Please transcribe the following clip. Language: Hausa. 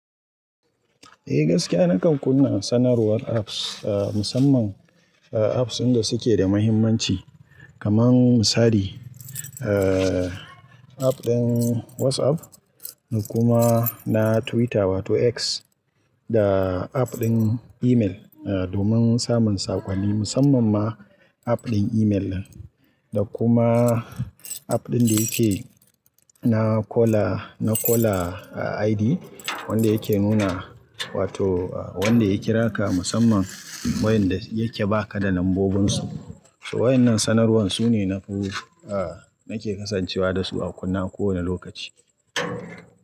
Eh gaskiya nakan kunna sanarwar apps, musamman apps inda suke da muhimmanci kamar misali app ɗin WhatsApp da kuma na Twitter wato X da app ɗin email domin samun saƙonni musamman ma app ɗin email da kuma app ɗin da yake na caller, na caller ID wanda yake nuna wato wanda ya kira ka musamman wayanda yake ba ka da lambobinsu. Waɗannan sanarwan su ne na buhu nake kasancewa da su a kunne a kowane lokaci.